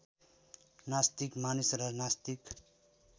नास्तिक मानिस र नास्तिक